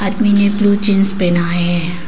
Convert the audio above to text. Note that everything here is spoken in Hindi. आदमी ने ब्लू जींस पहना है।